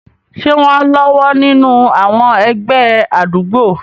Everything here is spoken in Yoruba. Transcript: Ṣé wọ́n á lọ́wọ́ nínú àwọn ẹgbẹ́ àdúgbò?